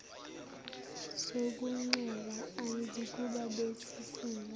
sokuncela ayizukuba besisindo